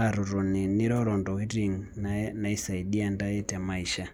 aatotoni niroro ntokitin naisaidia ntae te maisha.